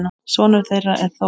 Sonur þeirra er Þór.